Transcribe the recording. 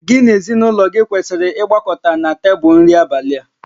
Gị na ezinụlọ gị kwesịrị ịgbakọta na tebụl nri abalị a